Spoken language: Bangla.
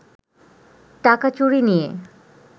টাকা চুরি নিয়ে